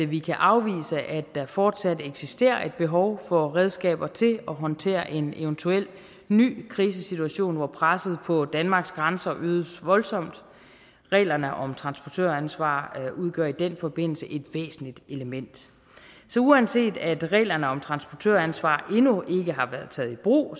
vi kan afvise at der fortsat eksisterer et behov for redskaber til at håndtere en eventuel ny krisesituation hvor presset på danmarks grænser øges voldsomt reglerne om transportøransvar udgør i den forbindelse et væsentligt element så uanset at reglerne om transportøransvar endnu ikke har været taget i brug